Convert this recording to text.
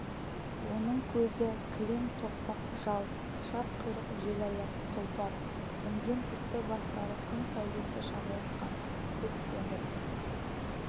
оның көзі кілең тоқпақ жал құшақ құйрық желаяқ тұлпар мінген үсті-бастары күн сәулесі шағылысқан көк темір